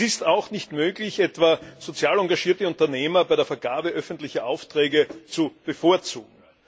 Es ist auch nicht möglich, etwa sozial engagierte Unternehmer bei der Vergabe öffentlicher Aufträge zu bevorzugen.